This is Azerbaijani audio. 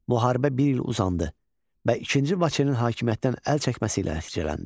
Müharibə bir il uzandı və ikinci Vaçenin hakimiyyətdən əl çəkməsi ilə nəticələndi.